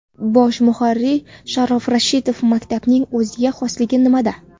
Bosh muharrir Sharof Rashidov maktabining o‘ziga xosligi nimada?